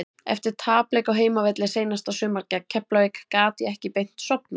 Eftir tapleik á heimavelli seinasta sumar gegn Keflavík gat ég ekki beint sofnað.